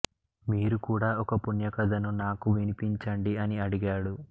మీరు కూడా ఒక పుణ్యకథను నాకు వినిపించండి అని అడిగాడు